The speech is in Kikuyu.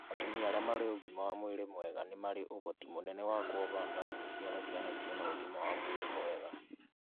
Atumia arĩa marĩ ũgima wa mwĩrĩ mwega nĩ marĩ ũhoti mũnene wa kuoha nda na gũciara ciana cĩĩna ũgima wa mwĩrĩ mwega